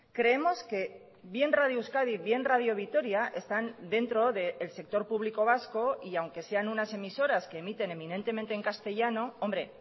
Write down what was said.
creemos que bien radio euskadi bien radio vitoria están dentro del sector público vasco y aunque sean unas emisoras que emiten eminentemente en castellano hombre